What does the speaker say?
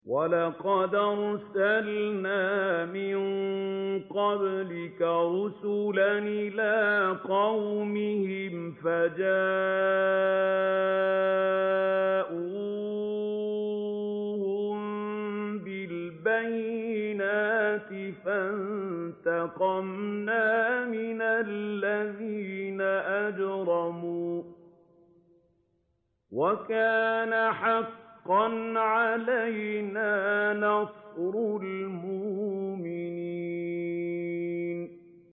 وَلَقَدْ أَرْسَلْنَا مِن قَبْلِكَ رُسُلًا إِلَىٰ قَوْمِهِمْ فَجَاءُوهُم بِالْبَيِّنَاتِ فَانتَقَمْنَا مِنَ الَّذِينَ أَجْرَمُوا ۖ وَكَانَ حَقًّا عَلَيْنَا نَصْرُ الْمُؤْمِنِينَ